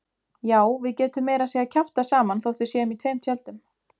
Já, við getum meira að segja kjaftað saman þótt við séum í tveim tjöldum.